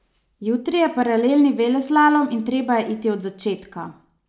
Jutri je paralelni veleslalom in treba je iti od začetka.